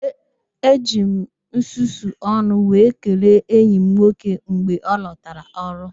E jiri m nsusu ọnụ wee kelee enyi m nwoke mgbe ọ lọtara ọrụ